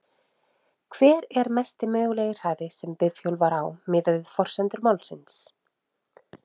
Hver er mesti mögulegi hraði sem bifhjólið var á miðað við forsendur málsins?